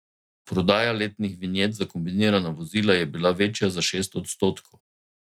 Prodaja letnih vinjet za kombinirana vozila je bila večja za šest odstotkov.